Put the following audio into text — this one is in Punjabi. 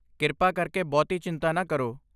ਕਿਰਪਾ ਕਰਕੇ ਬਹੁਤੀ ਚਿੰਤਾ ਨਾ ਕਰੋ।